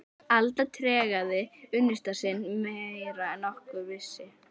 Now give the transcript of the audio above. Alda tregaði unnusta sinn meira en nokkur vissi.